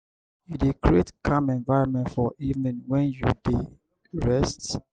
you dey create calm environment for evening when you dey rest?